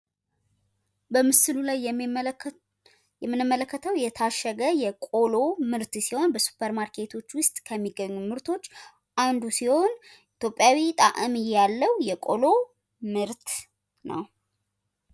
በምስሉ ላይ የምንመለከተው የታሸገ የቆሎ ምርት ሲሆን በሱፐር ማርኬቶች ውስጥ ከሚገኙ ምርቶች ውስጥ አንዱ ሲሆን ኢትዮጵያዊ ጣዕም ያለው የቆሎ ምርት ነው።